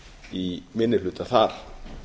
í minni hluta þar